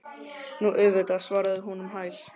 Nú, auðvitað, svaraði hún um hæl.